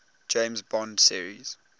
james bond series